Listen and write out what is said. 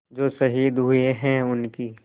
जो शहीद हुए हैं उनकी